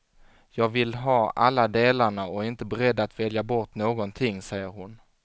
Jag vill ha alla delarna och är inte beredd att välja bort någonting, säger hon.